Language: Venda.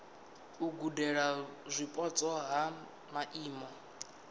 u gudela zwipotso ha maimo